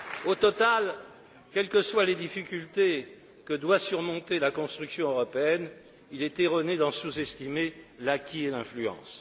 Au total, quelles que soient les difficultés que doit surmonter la construction européenne, il est erroné d'en sous estimer l'acquis et l'influence.